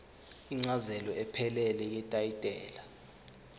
incazelo ephelele yetayitela